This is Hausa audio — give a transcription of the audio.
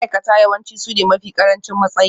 Ma'aikata yawanci sune mafi ƙarancin matsayi